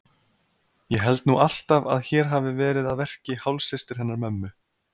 Ég held nú alltaf að hér hafi verið að verki hálfsystir hennar mömmu.